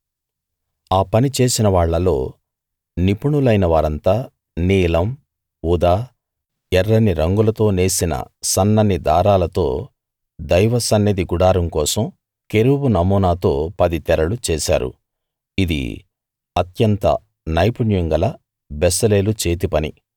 ఆ పని చేసినవాళ్ళలో నిపుణులైన వారంతా నీలం ఊదా ఎర్రని రంగులతో నేసిన సన్నని దారాలతో దైవ సన్నిధి గుడారం కోసం కెరూబు నమూనాతో పది తెరలు చేశారు ఇది అత్యంత నైపుణ్యం గల బెసలేలు చేతి పని